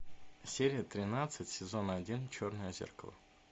серия тринадцать сезон один черное зеркало